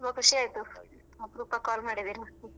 ತುಂಬಾ ಖುಷಿ ಆಯ್ತು ಅಪರೂಪಕ್ಕೆ call ಮಾಡಿದ್ದೀರಾ .